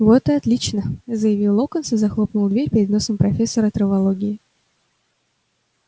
вот и отлично заявил локонс и захлопнул дверь перед носом профессора травологии